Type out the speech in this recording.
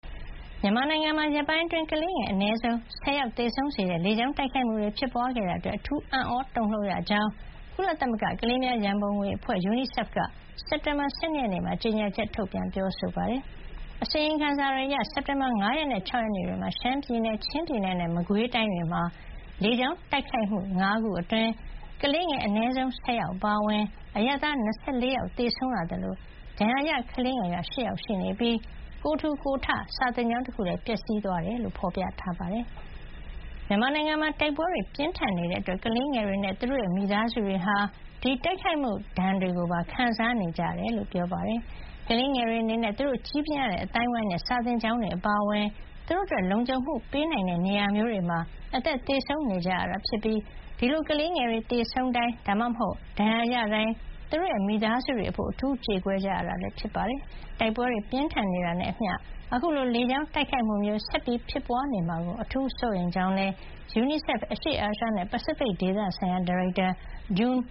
မြန်မာနိုင်ငံမှာ ရက်ပိုင်းအတွင်း ကလေးငယ် အနည်းဆုံး ၁၀ ယောက်သေဆုံးစေတဲ့ လေကြောင်းတိုက်ခိုက်မှုတွေ ဖြစ်ပွါးခဲ့တာ အတွက် အထူး အံ့သြတုန်လှုပ်ရကြောင်း ကုလသမဂ္ဂ ကလေးများရံပုံငွေအဖွဲ့ UNICEF က ကြေညာချက်ထုတ်ပြန်ပါတယ်။ အစီရင်ခံစာတွေအရ စက်တင်ဘာလ ၅ ရက်နဲ့ ၆ ရက်နေ့တွေမှာ ရှမ်းပြည်နယ်၊ ချင်းပြည်နယ်နဲ့ မကွေးတိုင်းတွေမှာလေကြောင်းတိုက်ခိုက်မှု ၅ ခုအတွင်း ကလေးငယ် အနည်းဆုံး ၁၀ ယောက်အပါအဝင် အရပ်သား ၂၄ ယောက် သေဆုံးခဲ့ရသလို ဒဏ်ရာရ ကလေးငယ်က ၈ ယောက် ရှိနေပြီး ကိုယ်ထူကိုယ်ထ စာသင်ကျောင်းတခုလည်း ပျက်စီးသွားခဲ့ကြောင်း ဖေါ်ပြထားပါတယ်။ မြန်မာနိုင်ငံမှာ တိုက်ပွဲတွေ ပြင်းထန်နေတာကြောင့် ကလေးငယ်တွေနဲ့ သူတို့ရဲ့ မိသားစုတွေဟာ ဒီတိုက်ခိုက်မှုဒဏ်တွေကို ပါ ခံစားနေကြရတယ်လို့ ပြောပါတယ်။ ကလေးငယ်တွေအနေနဲ့ သူတို့ ကြီးပြင်းရတဲ့အသိုင်းအဝိုင်းနဲ့ စာသင်ကျောင်းတွေအပါအဝင် သူတို့အတွက် လုံခြုံမှုပေးနိုင်တဲ့နေရာမျိုးတွေမှာ အသက်သေဆုံးနေကြရတာဖြစ်ပြီး ဒီလို ကလေးငယ်တွေသေဆုံးတိုင်း ဒါမှမဟုတ် ဒဏ်ရာရတိုင်း သူတို့ရဲ့ မိသားစုတွေအဖို့ အထူးကြေကွဲ ကြရတာဖြစ်ပါတယ်။ တိုက်ပွဲတွေ ပြင်းထန်နေတာနဲ့အမျှ အခုလို လေကြောင်းတိုက်ခိုက်မှုမျိုး ဆက်ဖြစ်ပွါးနေမှာကို အထူးစိုးရိမ်ကြောင်းလည်း UNIICEF အရှေ့အာရှနဲ့ ပစိဖိတ်ဒေသဆိုင်ရာ ဒါရိုက်တာ June